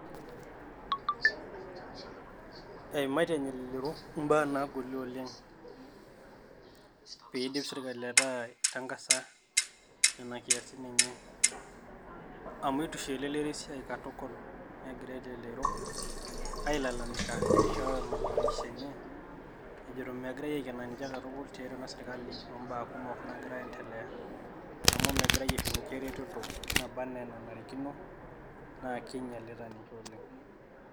Eimatie elelero ibaa naagolie oleng' peedip taata sirkalii aitangasa nena siatin enye, amu eitu eisho elelero esiai katukul' negira elelero ailalamika neishoo malalamiko enye ejitoito megirae Aiken ninche katukul' tiatua ena sirkali obaa kumok naagira ayendelea amu megirae aisho ninche eretoto nabaa enaa enanarikino naa kinyialita ninche oleng'.